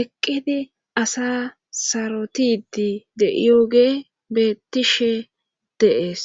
eqqidi asa sarotidi de7ioge betishe deees